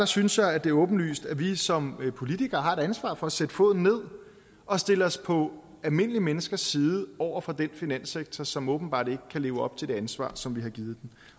synes jeg at det er åbenlyst at vi som politikere har et ansvar for at sætte foden ned og stille os på almindelige menneskers side over for den finanssektor som åbenbart ikke kan leve op til det ansvar som vi har givet